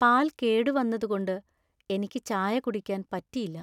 പാൽ കേടുവന്നതുകൊണ്ട് എനിക്ക് ചായ കുടിക്കാൻ പറ്റിയില്ല.